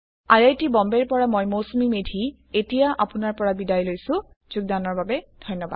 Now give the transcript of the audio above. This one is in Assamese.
আই আই টী বম্বে ৰ পৰা মই মৌচুমী মেধী এতিয়া আপুনাৰ পৰা বিদায় লৈছো যোগদানৰ বাবে ধন্যবাদ